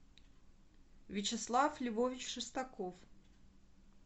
вячеслав львович шестаков